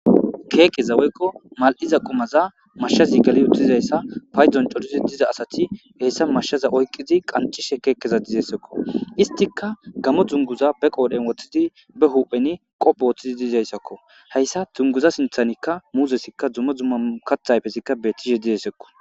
keekeza woykko mal7iza qumaza mashshazi gali uttizayssa paydon corizi diza asati heessa mashshaza oykqizi qancishe keekkeza dizesekko istika gamo dzunguza be qoodhen woththidi be hupheni qophe woththidi diizayssakko hayssa tunguza sinthanikka muuzesikka dzumo dzumma kathayfesikka bettishe didessekko